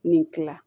Nin kila